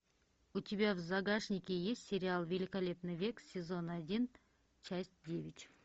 у тебя в загашнике есть сериал великолепный век сезон один часть девять